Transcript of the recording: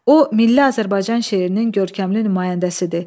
O milli Azərbaycan şeirinin görkəmli nümayəndəsidir.